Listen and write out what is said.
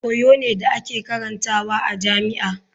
Koyo ne da ake karantawa a jami'a.